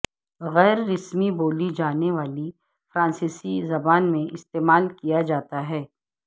غیر رسمی بولی جانے والی فرانسیسی زبان میں استعمال کیا جاتا ہے